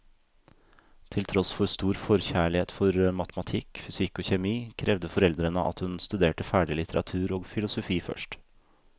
Til tross for stor forkjærlighet for matematikk, fysikk og kjemi, krevde foreldrene at hun studerte ferdig litteratur og filosofi først.